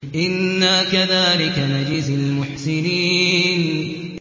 إِنَّا كَذَٰلِكَ نَجْزِي الْمُحْسِنِينَ